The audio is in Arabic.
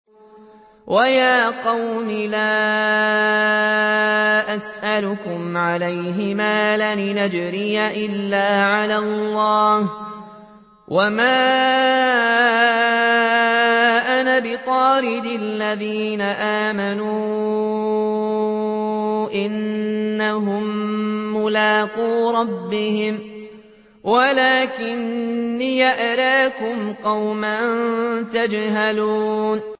وَيَا قَوْمِ لَا أَسْأَلُكُمْ عَلَيْهِ مَالًا ۖ إِنْ أَجْرِيَ إِلَّا عَلَى اللَّهِ ۚ وَمَا أَنَا بِطَارِدِ الَّذِينَ آمَنُوا ۚ إِنَّهُم مُّلَاقُو رَبِّهِمْ وَلَٰكِنِّي أَرَاكُمْ قَوْمًا تَجْهَلُونَ